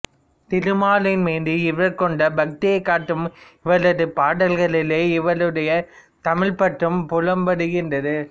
திருமாலின் மீது இவர் கொண்ட பக்தியைக் காட்டும் இவரது பாடல்களிலே இவருடைய தமிழ்ப் பற்றும் புலப்படுகின்றது